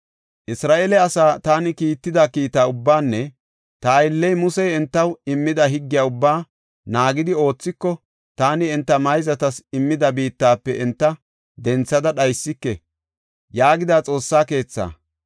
Isra7eele asa taani kiitida kiita ubbaanne ta aylley Musey entaw immida higgiya ubba naagidi oothiko, taani enta mayzatas immida biittafe enta denthada dhaysike” yaagida Xoossa keetha.